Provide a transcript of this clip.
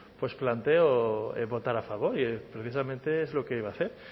planteó votar a favor y precisamente es lo que iba a hacer